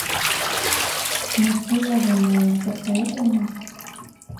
нецелованная посоветуй мне